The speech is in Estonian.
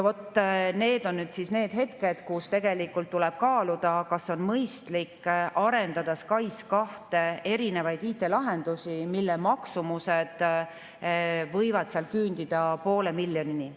Need on need kohad, kus tuleb kaaluda, kas on mõistlik arendada SKAIS2, erinevaid IT-lahendusi, kui selle maksumus võib küündida 0,5 miljonini.